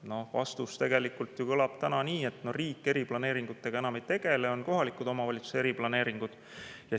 No vastus tegelikult kõlab praegu nii, et riik eriplaneeringutega enam ei tegele, on kohaliku omavalitsuse eriplaneeringud.